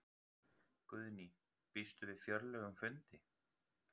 Guðný: Býstu við fjörlegum fundi?